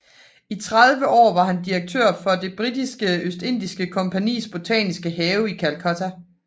I 30 år var han direktør for det Britiske Østindiens Kompagnis botaniske have i Calcutta